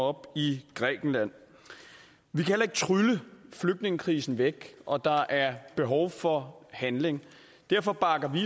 op i grækenland vi kan ikke trylle flygtningekrisen væk og der er behov for handling derfor bakker vi